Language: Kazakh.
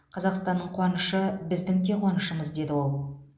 қазақстанның қуанышы біздің де қуанышымыз деді ол